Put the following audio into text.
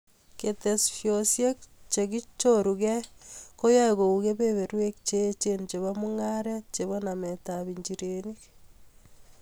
Ketesyosyek chekichorugei koyoe kou kebeberweek cheechen chebo mung'areet chebo nametab injireniik.